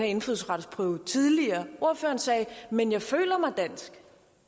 indfødsretsprøve ordføreren sagde men jeg føler mig dansk